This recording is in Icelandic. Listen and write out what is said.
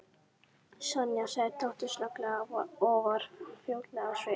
Sonja sagði Tóti snögglega og varð flóttalegur á svip.